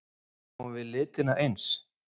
Sjáum við litina eins?